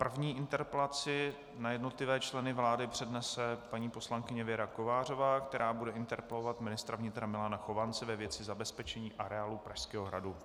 První interpelaci na jednotlivé členy vlády přednese paní poslankyně Věra Kovářová, která bude interpelovat ministra vnitra Milana Chovance ve věci zabezpečení areálu Pražského hradu.